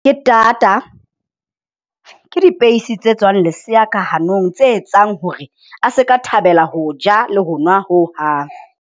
Ke tata ke dipeisi tse tswang lesea ka hanong, tse etsang hore a se ka thabela ho ja le ho nwa hohang.